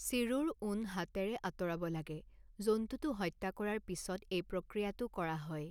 চিৰুৰ ঊণ হাতেৰে আঁতৰাব লাগে, জন্তুটো হত্যা কৰাৰ পিছত এই প্ৰক্ৰিয়াটো কৰা হয়।